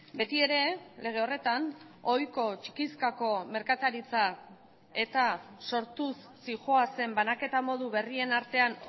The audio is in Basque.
beti ere lege horretan ohiko txikizkako merkataritza eta sortuz zihoazen banaketa modu berrien artean